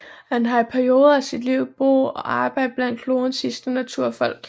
Han har i perioder af sit liv har boet og arbejdet blandt klodens sidste naturfolk